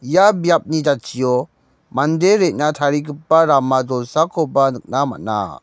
ia biapni jatchio mande re·na tarigipa rama jolsakoba nikna man·a.